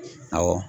Awɔ